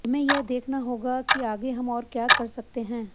हमें यह देखना होगा किर आगे हम और क्या कर सकते हैं